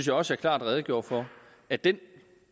jeg også klart redegjorde for at den